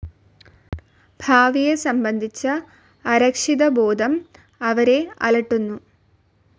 ഭാവിയെ സംബന്ധിച്ച അരക്ഷിതബോധം അവരെ അലട്ടുന്നു.